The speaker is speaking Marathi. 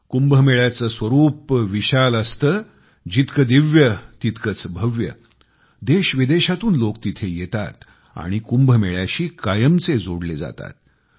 कुंभमेळ्याचं स्वरुप विशाल असतंजितके दिव्य तितकेच भव्य देशविदेशातून लोक तिथे येतात आणि कुंभमेळ्याशी कायमचे जोडले जातात